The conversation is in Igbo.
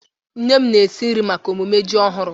Nne m na-esi nri maka emume ji ọhụrụ.